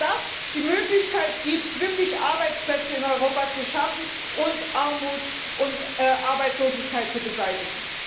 Denn das gibt die Möglichkeit, wirklich Arbeitsplätze in Europa zu schaffen und Armut und Arbeitslosigkeit zu beseitigen.